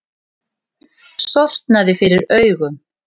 Sortnaði fyrir augum.